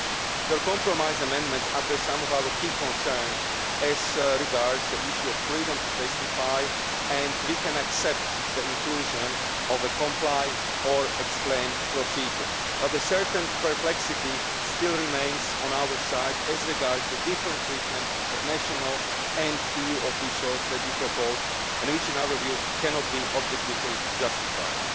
Your compromise amendments address some of our key concerns as regards the issue of freedom to testify' and we can accept the inclusion of a comply or explain' procedure, but a certain perplexity still remains on our side as regards the different treatment of national and EU officials that you propose, which in our view, cannot be objectively justified.